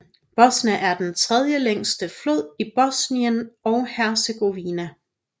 Bosna er den tredjelængste flod i Bosnien og Hercegovina